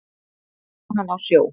Þar vann hann á sjó.